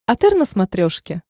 отр на смотрешке